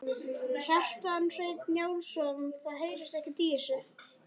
Kjartan Hreinn Njálsson: Það heyrist ekkert í þessu?